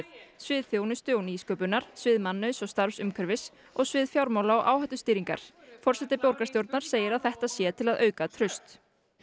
svið þjónustu og nýsköpunar svið mannauðs og starfsumhverfis og svið fjármála og áhættustýringar forseti borgarstjórnar segir að þetta sé til að auka traust